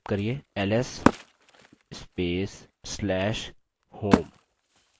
ls space/slash home